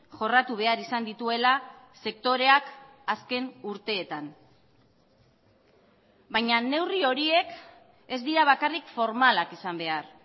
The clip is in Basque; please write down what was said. jorratu behar izan dituela sektoreak azken urteetan baina neurri horiek ez dira bakarrik formalak izan behar